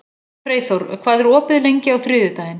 Freyþór, hvað er opið lengi á þriðjudaginn?